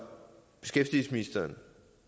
beskæftigelsesministeren